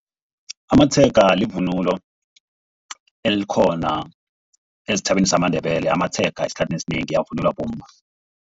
Amatshega livunulo elikhona esitjhabeni samaNdebele. Amatshega esikhathini esinengi avunulwa bomma.